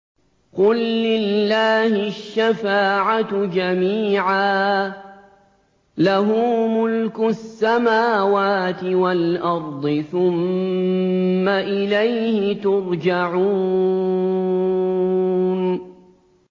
قُل لِّلَّهِ الشَّفَاعَةُ جَمِيعًا ۖ لَّهُ مُلْكُ السَّمَاوَاتِ وَالْأَرْضِ ۖ ثُمَّ إِلَيْهِ تُرْجَعُونَ